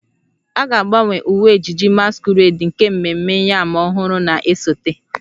A ga-agbanwe uwe ejiji masquerade nke ememme yam ọhụrụ na-esote